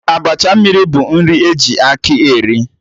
Abacha mmiri bụ nri e ji akị eri